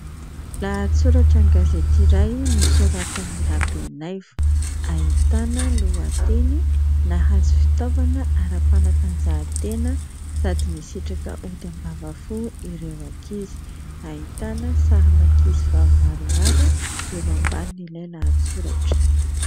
Lahatsoratra an-gazety iray nosoratan'i Rabenaivo ahitana lohateny "Nahazo fitaovana ara-panatanjahantena sady nisitraka ody ambavafo ireo ankizy" ; ahitana sarin'ankizy vavy maromaro eo ambanin'ilay lahatsoratra.